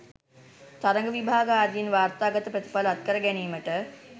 තරග විභාග ආදියෙන් වාර්තාගත ප්‍රතිඵල අත්කර ගැනීමට